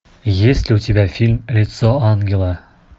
есть ли у тебя фильм лицо ангела